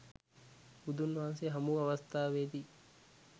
බුදුන් වහන්සේ හමු වූ අවස්ථාවේ දී